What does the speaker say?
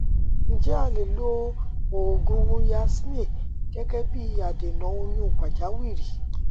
ǹjẹ alè lo òògùn yasmin gẹgẹ bí i adènà oyún pàjáwìrì